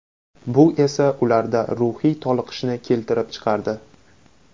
Bu esa ularda ruhiy toliqishni keltirib chiqardi.